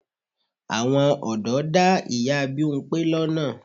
Àwọn ọ̀dọ́ dá ìyá Bímpé lọ́nà.